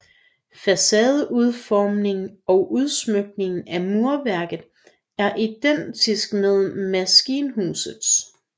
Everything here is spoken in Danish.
Facadeudformningen og udsmykningen af murværket er identisk med maskinhusets